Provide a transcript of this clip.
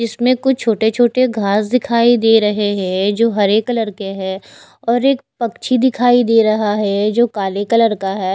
इसमें कुछ छोटे छोटे घास दिखाई दे रहे हैं जो हरे कलर के हैं और एक पक्षी दिखाई दे रहा है जो काले कलर का है।